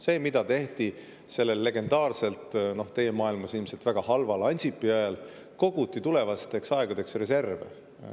Sellele, mida tehti sellel legendaarsel Ansipi ajal – teie maailmas oli see ilmselt väga halb aeg –, kui koguti reserve tulevasteks aegadeks, löödi käega.